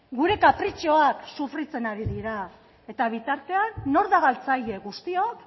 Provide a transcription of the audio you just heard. gure kapritxoak sufritzen ari dira eta bitartean nor da galtzaile guztiok